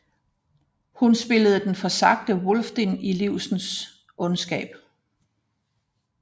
Hun spillede den forsagte Wulfdine i Livsens Ondskab